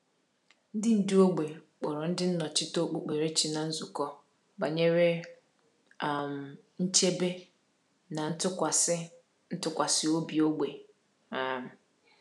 Ndị ndú ógbè kpọrọ ndị nnọchite okpukperechi na nzukọ banyere um nchebe na ntụkwasị ntụkwasị obi ógbè. um